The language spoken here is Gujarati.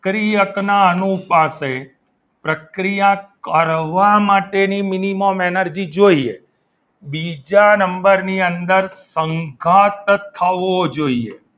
પ્રક્રિયક ના અનુપાશે પ્રક્રિયા કરવા માટેની minimum એનર્જી જોઈએ બીજા નંબરની અંદર સંગાથ થવો જોઈએ.